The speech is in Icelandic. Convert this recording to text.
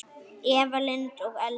Eva Lind og Elsa.